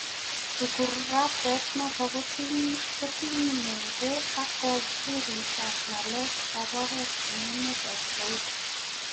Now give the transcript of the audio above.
ukurasait noton kotinyegei ag wizaret ab ngelek ab orit en emet ab Saudia.